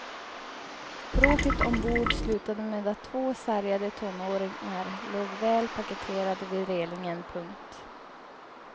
Bråket ombord slutade med att två sargade tonåringar låg väl paketerade vid relingen. punkt